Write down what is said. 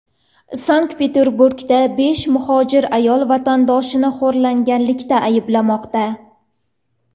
Sankt-Peterburgda besh muhojir ayol vatandoshini xo‘rlaganlikda ayblanmoqda.